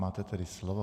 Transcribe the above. Máte tedy slovo.